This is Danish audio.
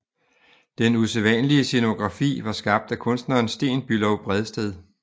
Den usædvanlige scenografi var skabt af kunstneren Sten Bülow Bredsted